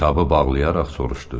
Kitabı bağlayaraq soruşdu.